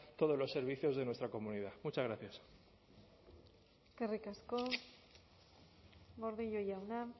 todos los servicios de nuestra comunidad muchas gracias eskerrik asko gordillo jauna